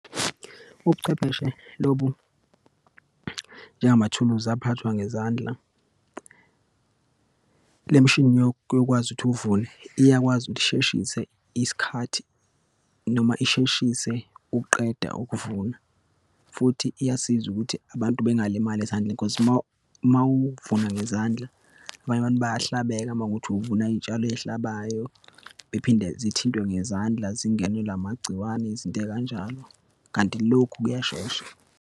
Ubuchwepheshe lobu njengamathuluzi aphathwa ngezandla. Le mishini yokwazi ukuthi uvune, iyakwazi ukuthi isheshise isikhathi noma isheshise ukuqeda ukuvuna. Futhi iyasiza ukuthi abantu bengalimali ezandleni cause uma, uma uvuna ngezandla, abanye abantu bayahlabeke, uma kuwukuthi uvuna iyitshalo eyihlabayo, bephinde zithintwe ngezandla, zingenelwe amagciwane, izinto eyikanjalo. Kanti lokhu kuyashesha.